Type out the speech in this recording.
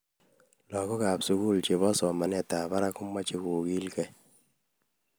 Lagookab sugul chebo somanetab barak komechei kogilgei